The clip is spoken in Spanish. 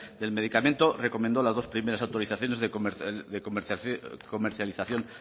del medicamento recomendó las dos primeras autorizaciones de comercialización